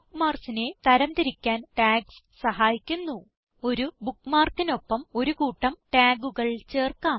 Bookmarksനെ തരം തിരിക്കാൻ ടാഗ്സ് സഹായിക്കുന്നു ഒരു bookmarkനൊപ്പം ഒരു കൂട്ടം tagകൾ ചേർക്കാം